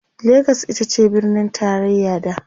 legas itace birnin taraya da